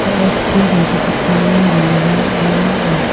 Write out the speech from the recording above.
chipe donchakgipani rongrangara a·mang ong·a.